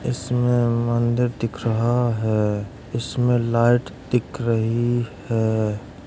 इसमें मंदिर दिख रहा है। इसमें लाइट दिख रही है।